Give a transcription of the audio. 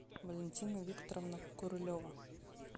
валентина викторовна королева